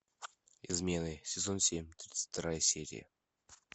измены сезон семь тридцать вторая серия